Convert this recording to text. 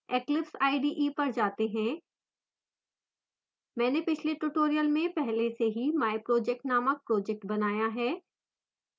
eclipse ide पर जाते हैं मैंने पिछले tutorial में पहले से ही myproject named project बनाया है